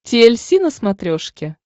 ти эль си на смотрешке